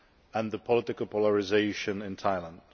and the political polarisation in Thailand.